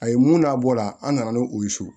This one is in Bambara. A ye mun n'a bɔ la an nana n'o ye so